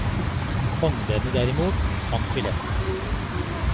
Håndleddene derimot, fant vi lett.